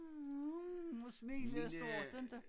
mm smilede stort inte